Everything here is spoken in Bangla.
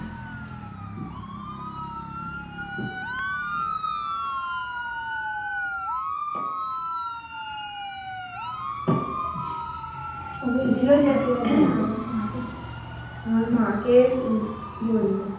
ও বলছিলো যে, আমার মাকে আমার মাকে উম বলতে।